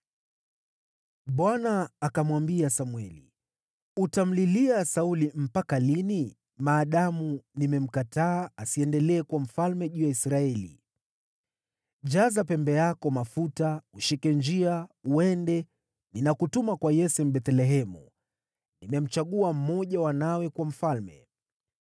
Bwana akamwambia Samweli, “Utamlilia Sauli mpaka lini, maadamu nimemkataa asiendelee kuwa mfalme juu ya Israeli? Jaza pembe yako mafuta, ushike njia uende; ninakutuma kwa Yese huko Bethlehemu. Nimemchagua mmoja wa wanawe kuwa mfalme.”